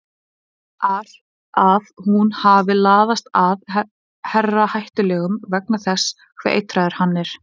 ar að hún hafi laðast að herra Hættulegum vegna þess hve eitraður hann er.